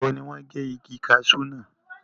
ìgbà wo ni wọ́n gé igi kasú náà?